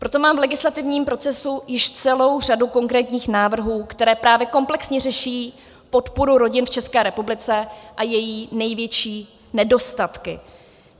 Proto mám v legislativním procesu již celou řadu konkrétních návrhů, které právě komplexně řeší podporu rodin v České republice a její největší nedostatky.